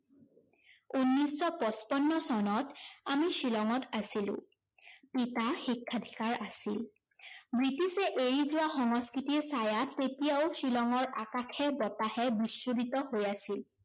উনৈচশ পচপন্ন চনত আমি শ্বিলংঙত আছিলো। পিতা শিক্ষাধিকাৰ আছিল। ব্ৰিটিছে এৰি যোৱা সংস্কৃতিৰ ছাঁয়া তেতিয়াও শ্বিলঙৰ আকাশে- বতাহে বিচ্ছুৰিত হৈ আছিল।